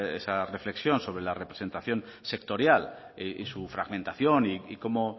esa reflexión sobre la representación sectorial y su fragmentación y cómo